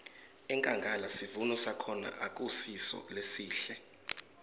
enkhangala sivuno sakhona akusiso lesihle